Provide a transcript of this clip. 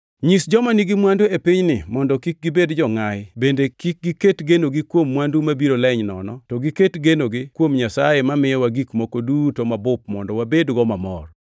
Nyis joma nigi mwandu e pinyni mondo kik gibed jongʼayi bende kik giket genogi kuom mwandu mabiro leny nono to giket genogi kuom Nyasaye mamiyowa gik moko duto mabup mondo wabedgo mamor.